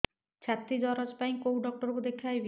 ଛାତି ଦରଜ ପାଇଁ କୋଉ ଡକ୍ଟର କୁ ଦେଖେଇବି